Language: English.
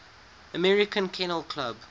american kennel club